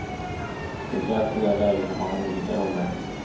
Speciellt i det läge när man har olika roller.